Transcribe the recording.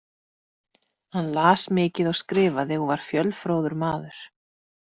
Hann las mikið og skrifaði og var fjölfróður maður.